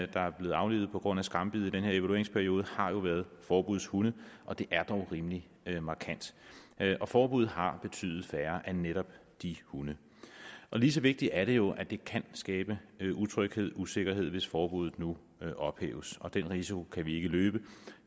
der er blevet aflivet på grund af skambid i den her evalueringsperiode har jo været forbudshunde og det er dog rimelig markant og forbuddet har betydet færre af netop de hunde lige så vigtigt er det jo at det kan skabe utryghed usikkerhed hvis forbuddet nu ophæves og den risiko kan vi ikke løbe